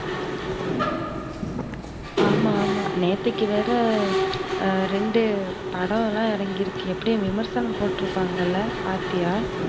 ஆமா, ஆமா நேத்தைக்கு வேற ரெண்டு படமெல்லாம் இறங்கிருக்கு எப்படியும் விமர்சனம் போட்ருப்பாங்கள பாத்தியா?